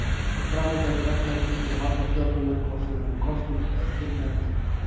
Framangreind regla gildir um alla stjórnarmenn hvort sem þeir eru kosnir eða tilnefndir.